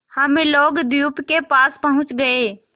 हम लोग द्वीप के पास पहुँच गए